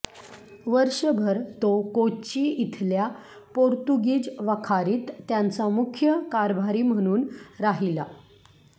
वर्षभर तो कोच्ची इथल्या पोर्तुगीज वखारीत त्यांचा मुख्य कारभारी म्हणून राहिला